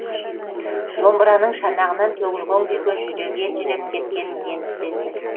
домбыраның шанағынан төгілген күйге жүрегі елжіреп кеткенін енді сезді